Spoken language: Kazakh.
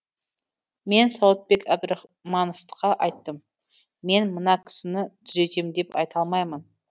мен сауытбек әбдірахмановқа айттым мен мына кісіні түзетем деп айта алмаймын